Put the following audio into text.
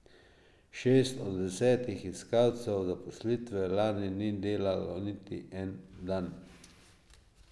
Šest od desetih iskalcev zaposlitve lani ni delalo niti en dan.